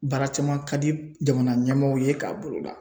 Baara caman ka di jamana ɲɛmaaw ye k'a boloda.